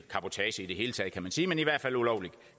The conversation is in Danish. ulovlig